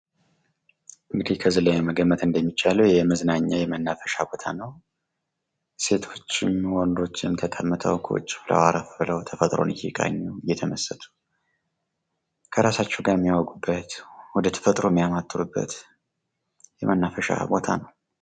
እንግዲህ ከዚህ ላይ መገመት እንደሚቻለው የመዝናኛ የመናፈሻ ቦታ ነው። ሴቶችም፣ ወንዶችም ተቀምጠው ፣ ቁጭ ብለው፣ አረፍ ብለው፣ ተፈጥሮን እነቃኙ እየተመሰጡ ከራሳቸው ጋ የሚያወጉበት ወደ ተፈጥሮ የሚያማትቡበት የመናፈሻ ቦታ ነው።